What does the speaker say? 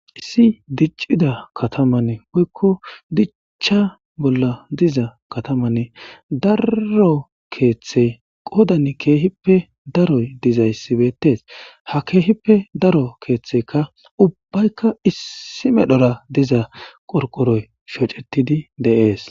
Issi diccida katamane woykko diccha bolla diza katamanne daro keeththe qodan keehippe daroy dizayssibeettes ha keehippe daro keeththeka ubbaykka issi medhora diza qorqoroy shocetidi deees.